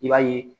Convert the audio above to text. I b'a ye